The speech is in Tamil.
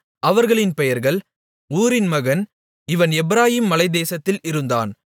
அவர்களின் பெயர்கள் ஊரின் மகன் இவன் எப்பிராயீம் மலைத் தேசத்தில் இருந்தான்